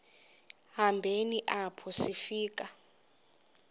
hambeni apho sifika